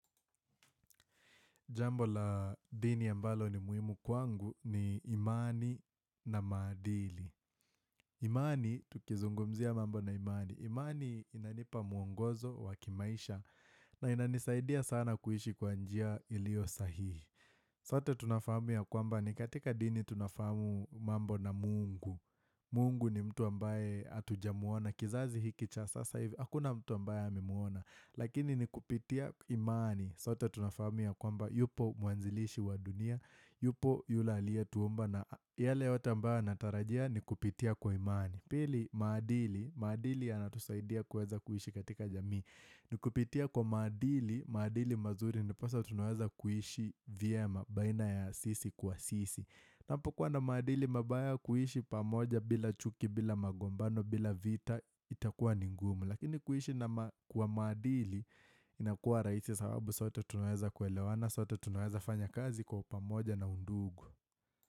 Jambo la dini ambalo ni muhimu kwangu ni imani na maadili. Imani, tukizungumzia mambo na imani. Imani inanipa mwongozo wakimaisha na inanisaidia sana kuishi kwanjia ilio sahihi. Sote tunafahamu ya kwamba ni katika dini tunafahamu mambo na mungu. Mungu ni mtu ambaye atuja muona. Kizazi hiki cha sasa hivi, hakuna mtu ambaye ame muona. Lakini ni kupitia imani. Sote tunafahamu kwamba yupo mwanzilishi wa dunia, yupo yule aliyetuumba na yale yote ambaya natarajia ni kupitia kwa imani. Pili madili, madili ya natusaidia kuweza kuhishi katika jamii. Ni kupitia kwa maadili, maadili mazuri nposa tunawaza kuhishi vyema baina ya sisi kwa sisi. Hapo kuwa na maadili mabaya kuhishi pamoja bila chuki bila magombano bila vita itakuwa ningumu. Lakini kuhishi na kuwa maadili inakua rahisi sababu sote tunaweza kuelewana, sote tunaweza fanya kazi kwa upamoja na undugu.